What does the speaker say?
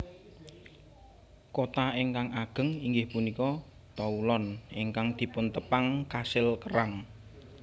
Kota ingkang ageng inggih punika Toulon ingkang dipuntepang kasil kerang